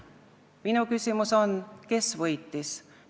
Minu küsimus on: kes võitis?